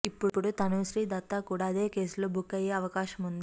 ఇప్పుడు తనూశ్రీ దత్తా కూడా అదే కేసులో బుక్ అయ్యే అవకాశం ఉంది